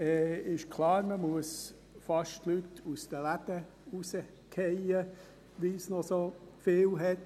Es ist klar, man muss die Leute aus den Läden werfen, weil es noch so viele hat.